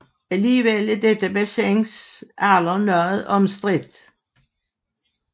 Alligevel er dette bassins alder noget omstridt